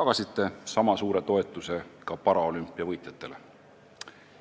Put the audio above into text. tagasite sama suure toetuse ka paraolümpiavõitjatele.